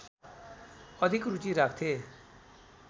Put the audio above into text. अधिक रूचि राख्थे